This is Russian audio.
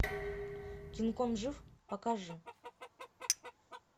кинг конг жив покажи